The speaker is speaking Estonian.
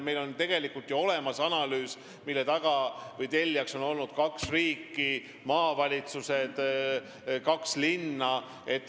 Meil on ju olemas analüüs, mille taga või mille tellijad on olnud kaks riiki, maavalitsused, kaks linna.